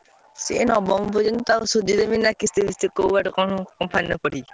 ସେ ନବମ ପର୍ଯ୍ୟନ୍ତ ତାକୁ ସୁଜିଦେବି ନା କିସ୍ତି ଫିସ୍ତି କୋଉ ବାଟେ କଣ କରିକି।